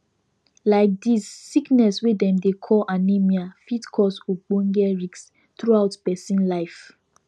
like this sickness wey dem dey call anemia fit cause ogboge risk throughout persin life